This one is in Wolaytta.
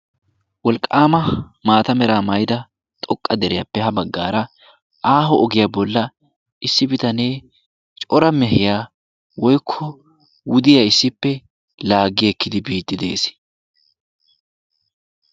Wolqqama mata meraa maayida xooqqa deriyaappe ha baaggaara aaho ogiyaa bolla issi bitanee cora mehiyaa woyko wuddiyaa issipe laggi ekkidi biidi de'ees.